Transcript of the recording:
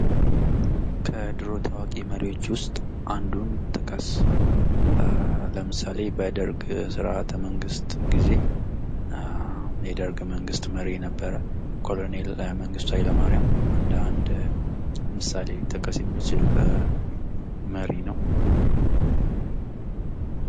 ከድሮ ታዋቂ መሪዎች ውስጥ አንዱን ጠቀስ? ለምሳሌ በደርግ ስርዓተ መንግሥት ጊዜ የደርግ መንግሥት መሪ የነበረ ኮሎኔል መንግስቱ ኃይለማሪያም እንደ 1 ምሳሌ ሊጠቀስ የሚችል መሪ ነው።